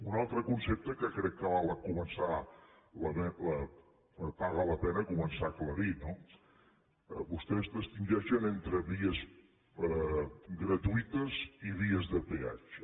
un altre concepte que crec que paga la pena començar a aclarir no vostès distingeixen entre vies gratuïtes i vies de peatge